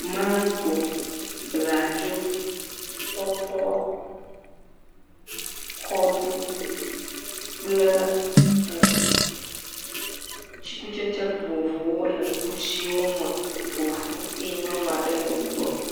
Maŋgo, bladzo, tɔtɔ, kɔɖi kple tsikutsetse vovovowo le kusiwo ƒo ƒu eye nyɔnu aɖe le wo gbɔ.